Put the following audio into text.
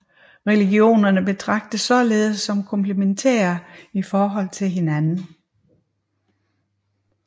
Religionerne betragtes således som komplementære i forhold til hinanden